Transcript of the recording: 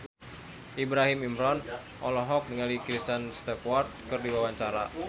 Ibrahim Imran olohok ningali Kristen Stewart keur diwawancara